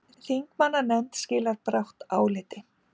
Þingmannanefnd skilar brátt áliti